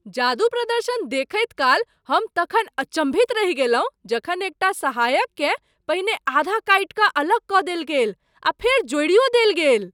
जादू प्रदर्शन देखैत काल हम तखन अचम्भित रहि गेलहुँ जखन एकटा सहायककेँ पहिने आधा काटि अलग कऽ देल गेल आ फेर जोड़ियो देल गेल।